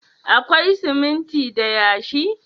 Akwai siminti da yashi?